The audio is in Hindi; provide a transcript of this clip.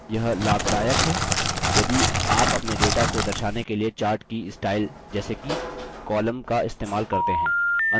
यह लाभदायक है यदि आप अपने data को दर्शाने के लिए chart की स्टाइल जैसे कि column का इस्तेमाल करते हैं